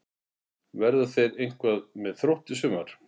Verða þeir eitthvað með Þrótti í sumar?